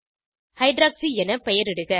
hydroxy என பெயரிடுக